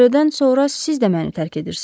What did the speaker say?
Andredan sonra siz də məni tərk edirsiz?